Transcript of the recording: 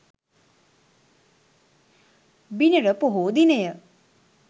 බිනර පොහෝ දිනය